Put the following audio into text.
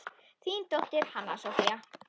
Þín dóttir, Hanna Soffía.